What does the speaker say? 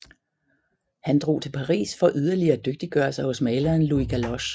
Han drog til Paris for yderligere at dygtiggøre sig hos maleren Louis Galloche